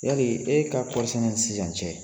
Yali e ka kɔɔri sɛnɛ ni sisan cɛ.